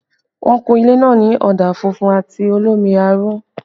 Wọ́n kun ilé náà ní ọ̀dà funfun àti olómi aró